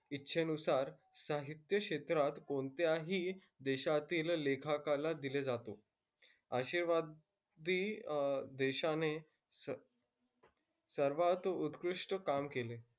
इच्छेनुसार साहित्य क्षेत्रात कोणत्याही देशातील लेखकाला दिले जातो. आशेवादी देशाने स सर्वात उत्कृष्ट काम केले.